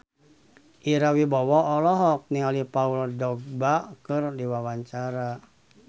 Ira Wibowo olohok ningali Paul Dogba keur diwawancara